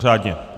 Řádně.